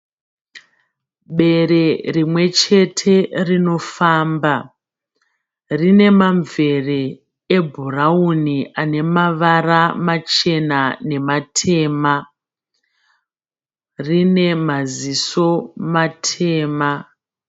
Bere rimwe chete rinofamba. Rine mamvere ebhurawuni ane mavara machena nematema. Rine maziso matema.